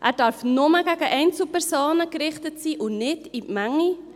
Er darf nur gegen Einzelpersonen gerichtet sein und nicht auf die Menge.